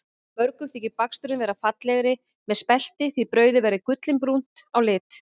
Mörgum þykir baksturinn verða fallegri með spelti því brauðið verður gullinbrúnt á lit.